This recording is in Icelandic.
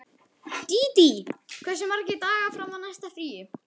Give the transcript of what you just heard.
Dídí, hversu margir dagar fram að næsta fríi?